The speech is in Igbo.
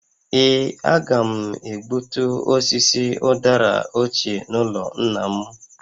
Ee, a ga m egbutu osisi ụdara ochie n’ụlọ nna m